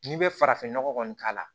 N'i bɛ farafinnɔgɔ kɔni k'a la